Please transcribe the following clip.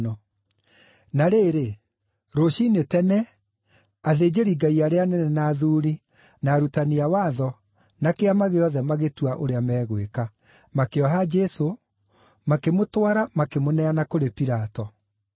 Na rĩrĩ, rũciinĩ tene, athĩnjĩri-Ngai arĩa anene na athuuri, na arutani a watho, na Kĩama gĩothe magĩtua ũrĩa megwĩka. Makĩoha Jesũ, makĩmũtwara, makĩmũneana kũrĩ Pilato.